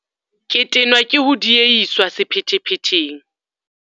Ke tenwa ke ho diehiswa sephethephetheng.